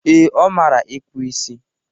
Ee, ọ mara ịkpụ isi